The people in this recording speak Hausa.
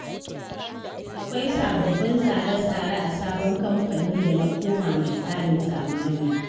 Akwai sabbabin tsare-tsare a sabon kamfani da na koma mai tsarin zamani.